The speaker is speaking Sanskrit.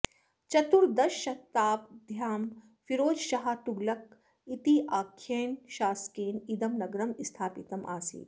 चतुर्दशशताब्द्यां फिरोजशाह तुगलक इत्याख्येन शासकेन इदं नगरं स्थापितम् आसीत्